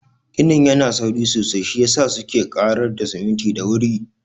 Ginin yana sauri sosai, shiyasa suke ƙarar da siminti da wuri.